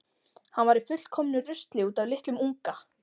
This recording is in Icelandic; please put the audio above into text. Hann var í fullkomnu rusli út af litlum unga.